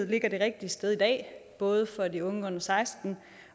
ligger det rigtige sted både for de unge under seksten